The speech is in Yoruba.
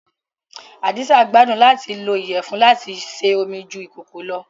Hadiza gbàdun làti lo iyẹfun lati se ómi ju ikòkò lọ́